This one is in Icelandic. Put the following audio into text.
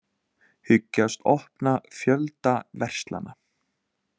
Hyggjast opna fjölda verslana